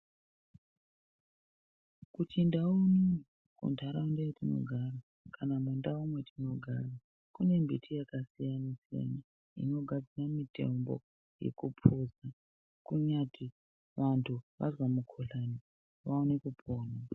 KuChindau unono kuntaraunda yatinogara kana mundau mwatinogara kune mbiti yakasiyana siyana inogadzira mitombo yekuphuza kunyati antu azwa mukuhlani aone kupona.